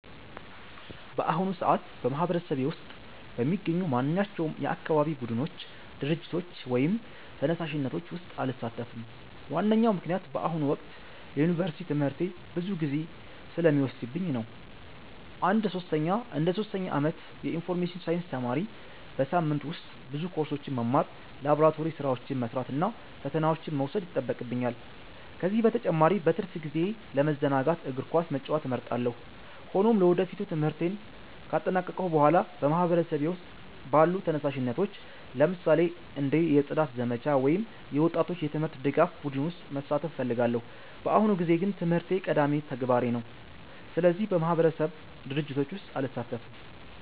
በአሁኑ ሰዓት በማህበረሰቤ ውስጥ በሚገኙ ማንኛቸውም የአካባቢ ቡድኖች፣ ድርጅቶች ወይም ተነሳሽነቶች ውስጥ አልሳተፍም። ዋነኛው ምክንያት በአሁኑ ወቅት የዩኒቨርሲቲ ትምህርቴ ብዙ ጊዜ ስለሚወስድብኝ ነው። እንደ ሶስተኛ ዓመት የኢንፎርሜሽን ሳይንስ ተማሪ፣ በሳምንቱ ውስጥ ብዙ ኮርሶችን መማር፣ ላቦራቶሪ ሥራዎችን መስራት እና ፈተናዎችን መውሰድ ይጠበቅብኛል። ከዚህ በተጨማሪ በትርፍ ጊዜዬ ለመዘናጋት እግር ኳስ መጫወት እመርጣለሁ። ሆኖም ለወደፊቱ ትምህርቴን ካጠናቀቅሁ በኋላ በማህበረሰቤ ውስጥ ባሉ ተነሳሽነቶች፣ ለምሳሌ እንደ የጽዳት ዘመቻ ወይም የወጣቶች የትምህርት ድጋፍ ቡድን ውስጥ መሳተፍ እፈልጋለሁ። በአሁኑ ጊዜ ግን ትምህርቴ ቀዳሚ ተግባሬ ነው፣ ስለዚህ በማህበረሰብ ድርጅቶች ውስጥ አልሳተፍም።